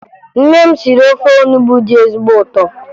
Nne m siri ofe onubo dị ezigbo ụtọ